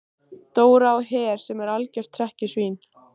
Dóra á Her sem var algjört hrekkjusvín.